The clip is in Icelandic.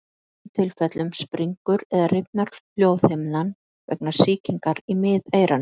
Í flestum tilfellum springur eða rifnar hljóðhimnan vegna sýkingar í miðeyranu.